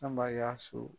Anba y'a so